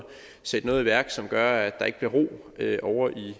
sætte noget i værk som gør at der ikke bliver ro ovre i